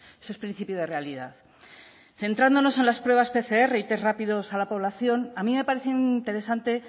eso es principio de realidad centrándonos en las pruebas pcr y test rápidos a la población a mí me parece interesante